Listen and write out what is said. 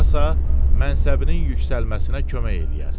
Sonrasa, mənsəbinin yüksəlməsinə kömək eləyər.